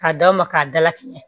K'a d'a ma k'a dalakɛɲɛ